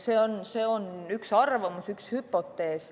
See on üks arvamus, üks hüpotees.